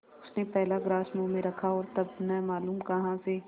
उसने पहला ग्रास मुँह में रखा और तब न मालूम कहाँ से